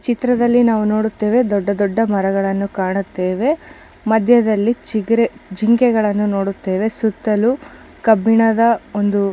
ಚಿತ್ರದಲ್ಲಿ ದೊಡ್ಡ ದೊಡ್ಡ ಮರಗಳನ್ನು ನೋಡುತ್ತೇವೆ ಮಧ್ಯದಲ್ಲಿ ನಾವು ಒಂದು ಜಿಂಕೆ ಯನ್ನು ನೋಡುತ್ತೇವೆ. ಸುತ್ತಲೂ ಕಬ್ಬಿಣದ ಒಂದು --